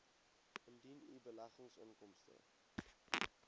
indien u beleggingsinkomste